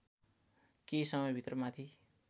केही समयभित्र माथि